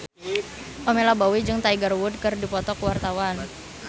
Pamela Bowie jeung Tiger Wood keur dipoto ku wartawan